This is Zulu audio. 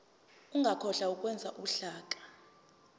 ungakhohlwa ukwenza uhlaka